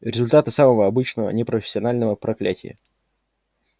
результаты самого обычного непрофессионального проклятия